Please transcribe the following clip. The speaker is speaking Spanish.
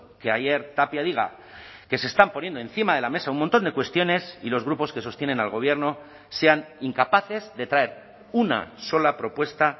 que ayer tapia diga que se están poniendo encima de la mesa un montón de cuestiones y los grupos que sostienen al gobierno sean incapaces de traer una sola propuesta